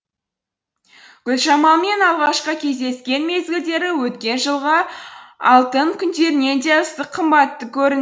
гүлжамалмен алғашқы кездескен мезгілдері өткен жылғы алтын күндерінен де ыстық қымбатты көрінді